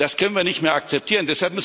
Das können wir nicht mehr akzeptieren.